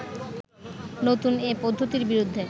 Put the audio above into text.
নতুন এ পদ্ধতির বিরুদ্ধে